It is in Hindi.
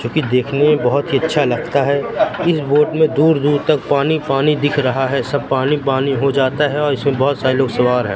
जो की देखने में बहोत ही अच्छा लगता है। इस बोट में दूर-दूर तक पानी-पानी दिख रहा है। सब पानी-पानी हो जाता है और इसमें बहोत सारे लोग सवार हैं।